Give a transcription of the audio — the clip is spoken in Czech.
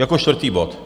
Jako čtvrtý bod.